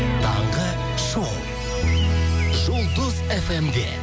таңғы шоу жұлдыз фм де